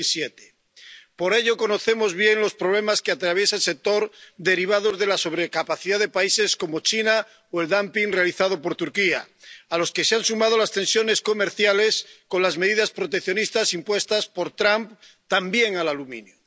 2007. Por ello conocemos bien los problemas que atraviesa el sector, derivados de la sobrecapacidad de países como China, o el realizado por Turquía, a los que se han sumado las tensiones comerciales con las medidas proteccionistas impuestas por Trump, también al aluminio.